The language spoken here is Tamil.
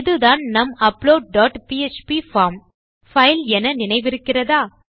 இதுதான் நம் upload dot PHP form file என நினைவிருக்கிறதா